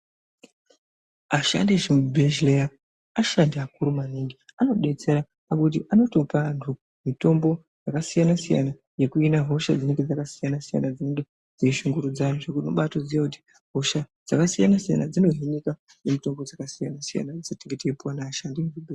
Ashandi echibhehleya ashandi akuru maningi, anodetsera ngokuti anotopa antu mitombo yakasiyana-siyana yekuhina hosha dzinenge dzakasiyana-siyana dzinenge dzeishungurudza antu zvekuti unobaatoziya kuti hosha dzakasiyana-siyana dzinohinika nemitombo dzakasiyana-siyana dzetinenge tichipuwa neashandi emuzvibhe....